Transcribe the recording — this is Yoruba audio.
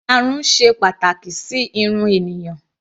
Ìyarun ṣe pàtàkì sí irun ènìyàn.